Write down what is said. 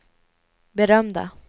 berömda